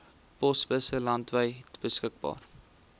posbusse landwyd beskikbaar